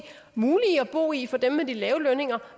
og i for dem med de lave lønninger